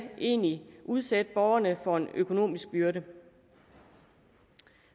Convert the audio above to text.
egentlig udsætte borgerne for en økonomisk byrde